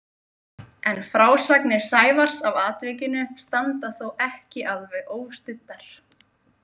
En frásagnir Sævars af atvikinu standa þó ekki alveg óstuddar.